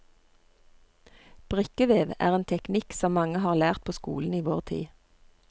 Brikkevev er en teknikk som mange har lært på skolen i vår tid.